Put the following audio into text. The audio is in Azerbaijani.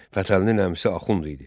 Fətəlinin əmisi Axund idi.